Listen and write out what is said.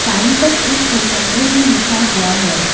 पर एक phone number भी लिखा हुआ है।